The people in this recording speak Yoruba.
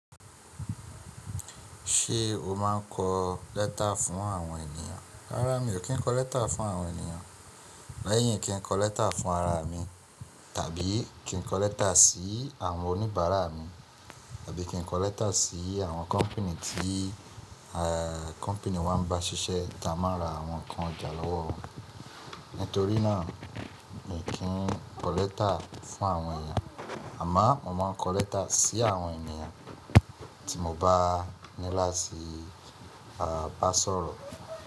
Ṣé o máa ń kọ lẹ́tà fún àwọn ènìyàn? Rárá mi ò kí ń kọ lẹ́tà fún àwọn ènìyàn, lẹ́yìn kí ń kọ lẹ́tà fún ara mi, tàbí kí ń kọ lẹ́tà sí àwọn oníbàárà mi, tàbí kí ń kọ lẹ́tà sí àwọn kọ́pùnì tí, à kọ́pùnì wa ń bá ṣiṣẹ́ tí a máa ń ra àwọn nǹkan ọjà lọ́wọ́. Nítorí náà, mi ò kí ń kọ lẹ́tà fún àwọn ènìyàn, àmọ́ mo máa ń kọ lẹ́tà sí àwọn ènìyàn tí mo bá ní láti bá sọ̀rọ̀.